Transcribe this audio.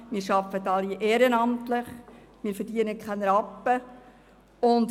Wir arbeiten alle ehrenamtlich und verdienen keinen Rappen.